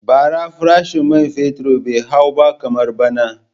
Bara farashin man fetur bai hau ba kamar bana.